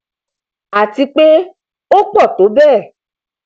àti pé ó pọ tó bẹẹ